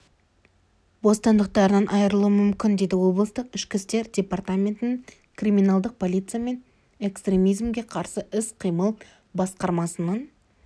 бостандықтарынан айырылуы мүмкін деді облыстық ішкі істер департаментінің криминалдық полиция мен экстремизмге қарсы іс-қимыл басқармасының